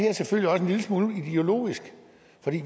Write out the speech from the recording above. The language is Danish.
er selvfølgelig også en lille smule ideologisk